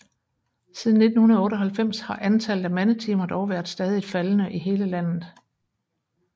Siden 1998 har antallet af mandetimer dog været stadigt faldende i hele landet